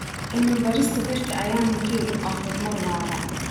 Cilmi-baarista dhirta ayaa muhiim u ah horumar waara.